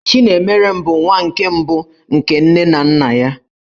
Chinemerem bụ nwa nke mbụ nke nne na nna ya.